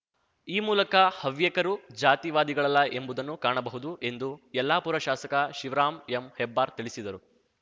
ಈ ಮೂಲಕ ಹವ್ಯಕರು ಜಾತಿವಾದಿಗಳಲ್ಲ ಎಂಬುದನ್ನು ಕಾಣಬಹುದು ಎಂದು ಯಲ್ಲಾಪುರ ಶಾಸಕ ಶಿವರಾಮ್ ಎಂ ಹೆಬ್ಬಾರ್ ತಿಳಿಸಿದರು